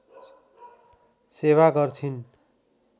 सेवा गर्छिन्।